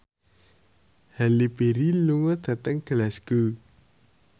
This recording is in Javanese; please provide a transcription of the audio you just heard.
Halle Berry lunga dhateng Glasgow